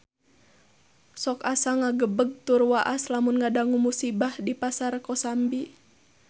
Sok asa ngagebeg tur waas lamun ngadangu musibah di Pasar Kosambi